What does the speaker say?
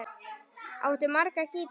Áttu marga gítara?